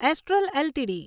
astral LTD